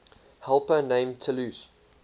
helper named talus